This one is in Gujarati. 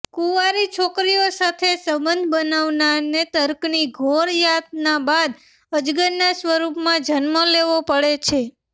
કુંવારી છોકરીઓ સાથે સંબંધ બનાવનારને નર્કની ઘોર યાતના બાદ અજગરના સ્વરૂપમાં જન્મ લેવો પડે છે